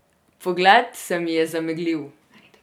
Pogled se mi je zameglil.